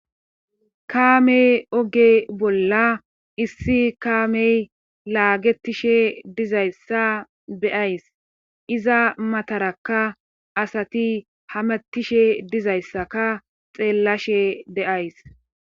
Kaamey oge bolla issi kaamey laagetishe dizayssa beyays iza matarakka asati hamattishe dizayssaka xeellashe deays